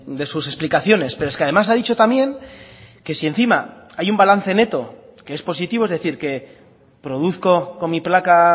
de sus explicaciones pero es que además ha dicho también que si encima hay un balance neto que es positivo es decir que produzco con mi placa